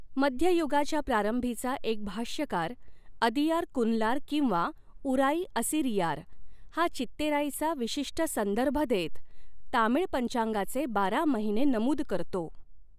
मध्ययुगाच्या प्रारंभीचा एक भाष्यकार अदियारकुनलार किंवा उराइ असिरियार हा चित्तेराइचा विशिष्ट संदर्भ देत, तामीळ पंचांगाचे बारा महिने नमूद करतो.